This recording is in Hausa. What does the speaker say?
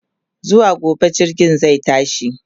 zuwa gobe jirgin zai tashi